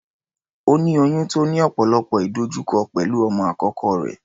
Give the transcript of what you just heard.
Ó ní oyún tó ní ọ̀pọ̀lọpọ̀ ìdojúkọ pẹ̀lú ọmọ àkọ́kọ́ rẹ̀.